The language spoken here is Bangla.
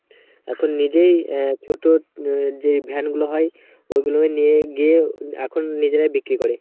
এখন নিজেই আহ ছোট যে ভ্যানগুলো হয় ওগুলো নিয়ে গিয়ে এখন নিজেরাই বিক্রি করে.